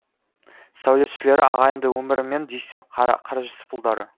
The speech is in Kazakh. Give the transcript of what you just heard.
сәулетшілері ағайынды өмір мен дүйсен қаражүсіпұлдары